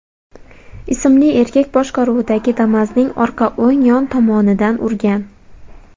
ismli erkak boshqaruvidagi Damas’ning orqa o‘ng yon tomonidan urgan.